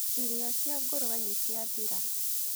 Irii cia ngũrwe nĩciathira